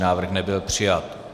Návrh nebyl přijat.